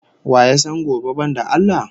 Wa ya san gobe banda Allah?